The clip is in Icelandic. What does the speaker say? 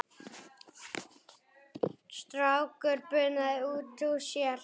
Strákur bunaði út úr sér